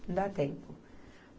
Não dá tempo.